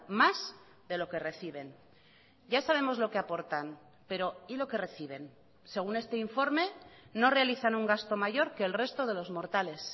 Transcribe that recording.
más de lo que reciben ya sabemos lo que aportan pero y lo que reciben según este informe no realizan un gasto mayor que el resto de los mortales